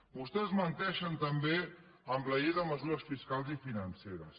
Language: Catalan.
vostès menteixen també amb la llei de mesures fiscals i financeres